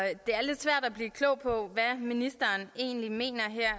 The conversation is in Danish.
blive klog på hvad ministeren egentlig mener her